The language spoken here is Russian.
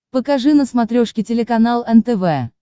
покажи на смотрешке телеканал нтв